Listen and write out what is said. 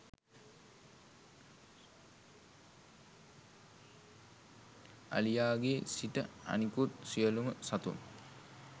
අලියාගේ සිට අනිකුත් සියලුම සතුන්